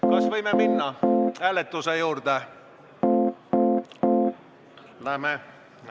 Kas võime minna hääletuse juurde?